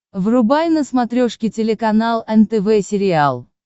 врубай на смотрешке телеканал нтв сериал